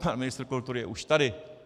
Pan ministr kultury je už tady.